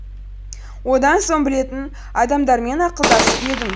одан соң білетін адамдармен ақылдасып едім